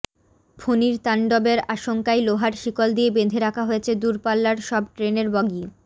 ফণীর তাণ্ডবের আশঙ্কায় লোহার শিকল দিয়ে বেঁধে রাখা হয়েছে দূরপাল্লার সব ট্রেনের বগি